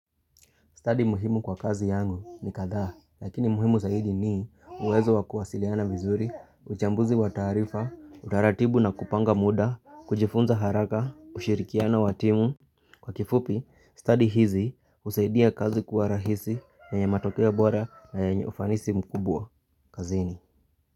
Study muhimu kwa kazi yangu ni kadhaa, lakini muhimu zaidi ni uwezo wa kuwasiliana vizuri, uchambuzi wa taarifa, utaratibu na kupanga muda, kujifunza haraka, ushirikiano wa timu. Kwa kifupi, study hizi husaidia kazi kuwa rahisi, na yenye matokeo bora na yenye ufanisi mkubwa. Kazini.